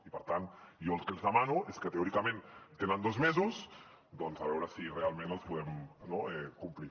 i per tant jo el que els demano és que teòricament tenen dos mesos a veure si realment els podem complir